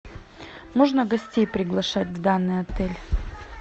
можно гостей приглашать в данный отель